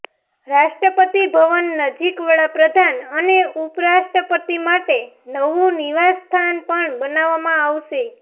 રાષ્ટ્રપતિ ભવન નજીક વડા પ્રધાન અને ઉપરાષ્ટ્રપતિ માટે નવું નિવાસસ્થાન પણ બનાવવામાં આવશે